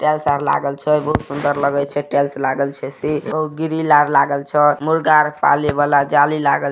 छै बहुत सुंदर लागल छै टाइल्स लागल छै और ग्रिल लागल छे मुर्गा आर पाले वाला जाली लागल छै।